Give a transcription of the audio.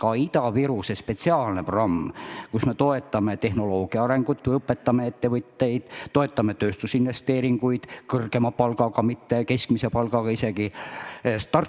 On ka Ida-Virumaa spetsiaalne programm, millega me toetame tehnoloogia arengut, õpetame ettevõtteid, toetame tööstusinvesteeringuid – kõrgema palgaga, isegi mitte keskmise palgaga –, start-up'e jne.